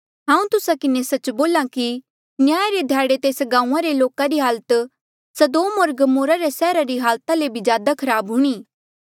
हांऊँ तुस्सा किन्हें सच्च बोल्हा कि न्याय रे ध्याड़े तेस गांऊँआं रे लोका री हालत सदोम होर गमोरा रे सैहरा री हालत ले ज्यादा खराब हूणीं